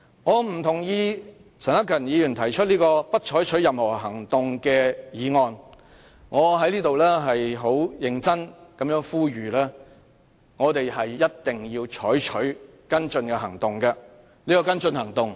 我在此認真呼籲議員必須採取跟進行動。這項跟進行動......